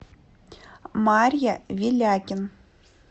марья велякин